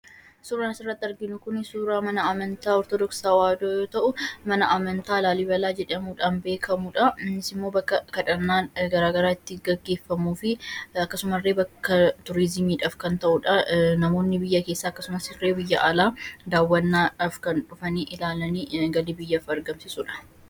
Suuraan asitti arginu kun suuraa mana amantaa Ortodoksii Tewahidoo yoo ta'u, mana amantaa Laalibalaa jedhamuun beekamudha. Innis ammoo bakka kadhannaan gara garaa itti gaggeffamuufi akkasuma ille bakka turizimiidhaaf kan ta'udha. Namoonni biyya keessaa illee biyya alaa daawwannaadhaaf kan dhufanii ilaalanii galii biyyaaf argamsiisudha.